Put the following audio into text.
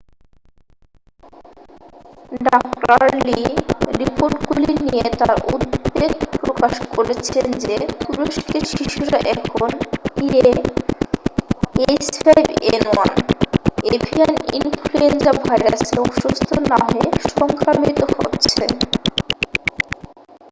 ডাঃ লি রিপোর্টগুলি নিয়ে তার উদ্বেগ প্রকাশ করেছেন যে তুরস্কের শিশুরা এখন ah5n1 এভিয়ান ইনফ্লুয়েঞ্জা ভাইরাসে অসুস্থ না হয়ে সংক্রামিত হচ্ছে।